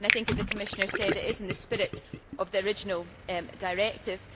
I think, as the Commissioner said, it is in the spirit of the original directive.